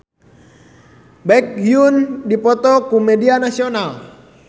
Baekhyun diliput ku media nasional